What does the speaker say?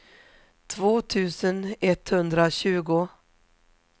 två tusen etthundratjugo